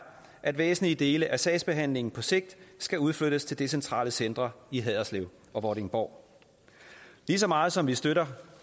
at væsentlige dele af sagsbehandlingen på sigt skal udflyttes til decentrale centre i haderslev og vordingborg lige så meget som vi støtter